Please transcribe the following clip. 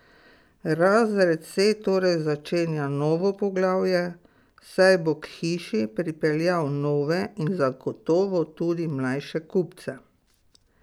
Razred C torej začenja novo poglavje, saj bo k hiši pripeljal nove in zagotovo tudi mlajše kupce.